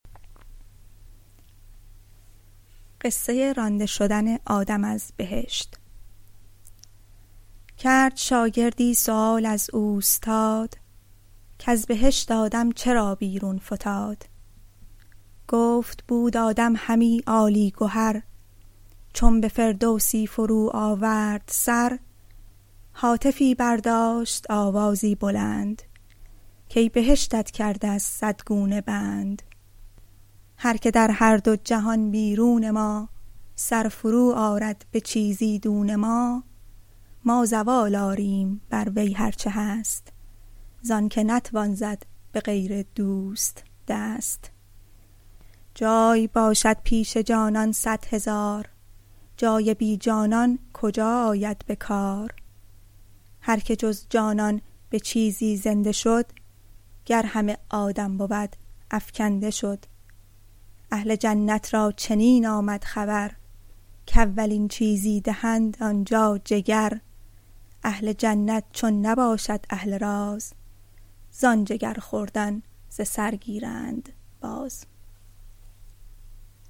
کرد شاگردی سؤال از اوستاد کز بهشت آدم چرا بیرون فتاد گفت بود آدم همی عالی گهر چون به فردوسی فرو آورد سر هاتفی برداشت آوازی بلند کای بهشتت کرده از صد گونه بند هرک در هر دو جهان بیرون ما سر فرو آرد به چیزی دون ما ما زوال آریم بر وی هرچه هست زآنک نتوان زد به غیر دوست دست جای باشد پیش جانان صد هزار جای بی جانان کجا آید به کار هرک جز جانان به چیزی زنده شد گر همه آدم بود افکنده شد اهل جنت را چنین آمد خبر کاولین چیزی دهند آن جا جگر اهل جنت چون نباشد اهل راز زآن جگر خوردن ز سر گیرند باز